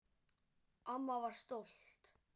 Amma var stolt.